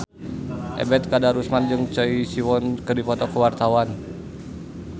Ebet Kadarusman jeung Choi Siwon keur dipoto ku wartawan